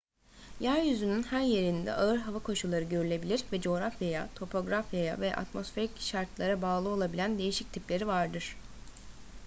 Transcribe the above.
yeryüzünün her yerinde ağır hava koşulları görülebilir ve coğrafyaya topografyaya ve atmosferik şartlara bağlı olabilen değişik tipleri vardır